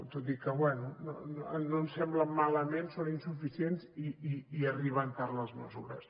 tot i que bé no ens semblen malament són insuficients i arriben tard les mesures